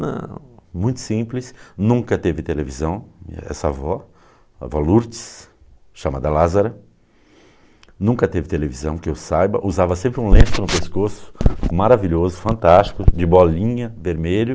Não, muito simples, nunca teve televisão, essa avó, a avó Lourdes, chamada Lázara, nunca teve televisão, que eu saiba, usava sempre um lenço no pescoço, maravilhoso, fantástico, de bolinha, vermelho.